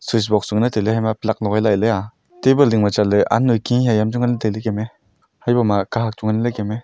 switch box chu ngan ley tailey hama pluck logai lah ley ah table ding ma chatley aan noi khi haya am chu ngan tailey kem me haibo ma kahak chu nganley kem ae.